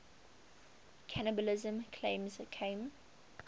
cannibalism claims came